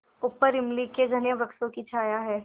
ऊपर इमली के घने वृक्षों की छाया है